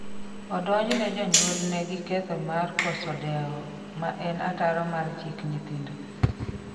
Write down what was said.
Odonjne jonyuolne gi ketho mar koso deo ma en ataro mar chik nyithindo